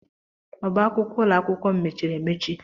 Ọbá akwụkwọ ụlọakwụkwọ m mechiri emechi..